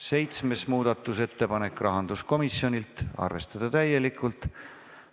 Seitsmes muudatusettepanek, rahanduskomisjonilt, arvestada täielikult.